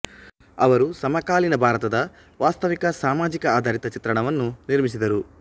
ಅವರು ಸಮಕಾಲೀನ ಭಾರತದ ವಾಸ್ತವಿಕ ಸಾಮಾಜಿಕ ಆಧಾರಿತ ಚಿತ್ರಣವನ್ನು ನಿರ್ಮಿಸಿದರು